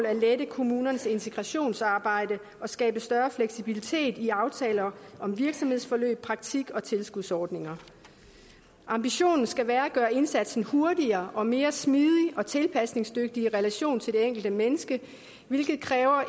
at lette kommunernes integrationsarbejde og skabe større fleksibilitet i aftaler om virksomhedsforløb praktik og tilskudsordninger ambitionen skal være at gøre indsatsen hurtigere og mere smidig og tilpasningsdygtig i relation til det enkelte menneske hvilket kræver